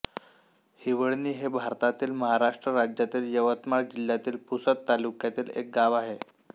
हिवळणी हे भारतातील महाराष्ट्र राज्यातील यवतमाळ जिल्ह्यातील पुसद तालुक्यातील एक गाव आहे